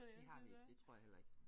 Det har vi ikke det tror jeg heller ikke